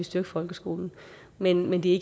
styrke folkeskolen men men det